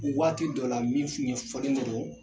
waati dɔ la min ɲɛfɔlen do